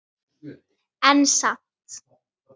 En samt.